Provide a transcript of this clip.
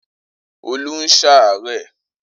Olú ń ṣàárẹ̀.